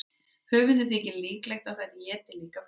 Höfundi þykir líklegt að þær éti líka pöddur.